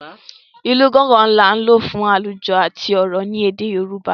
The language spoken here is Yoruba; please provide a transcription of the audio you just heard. ilú Gángan ní a lò fún alujo àti òrò ní èdè yorùbá